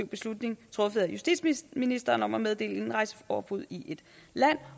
beslutning truffet af justitsministeren om at meddele indrejseforbud i et land